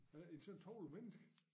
Han er et så tovlig menneske